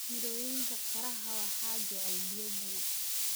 Mirooyinka qaraha waxaa jecel biyo badan.